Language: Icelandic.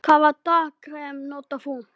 Hvaða dagkrem notar þú?